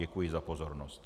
Děkuji za pozornost.